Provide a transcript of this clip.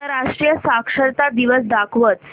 आंतरराष्ट्रीय साक्षरता दिवस दाखवच